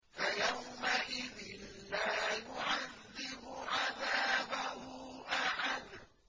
فَيَوْمَئِذٍ لَّا يُعَذِّبُ عَذَابَهُ أَحَدٌ